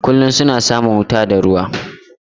Kullum suna samun wuta da ruwa.